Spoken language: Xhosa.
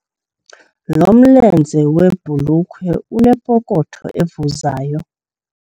Lo mlenze webhulukhwe unepokotho evuzayo.